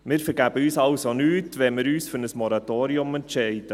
Wir vergeben uns also nichts, wenn wir uns für ein Moratorium entscheiden;